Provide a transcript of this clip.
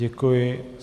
Děkuji.